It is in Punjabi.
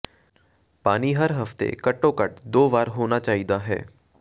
ਪਾਣੀ ਹਰ ਹਫ਼ਤੇ ਘੱਟੋ ਘੱਟ ਦੋ ਵਾਰ ਹੋਣਾ ਚਾਹੀਦਾ ਹੈ